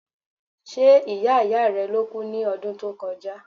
Ṣe ìyá ìyá rẹ ló kú ní ọdún tó kọjá?